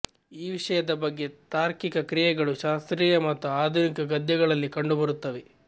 ಈ ವಿಷಯದ ಬಗ್ಗೆ ತಾರ್ಕಿಕ ಕ್ರಿಯೆಗಳು ಶಾಸ್ತ್ರೀಯ ಮತ್ತು ಆಧುನಿಕ ಗದ್ಯಗಳಲ್ಲಿ ಕಂಡುಬರುತ್ತವೆ